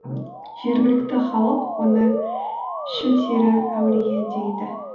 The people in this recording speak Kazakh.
жергілікті халық оны шілтері әулие дейді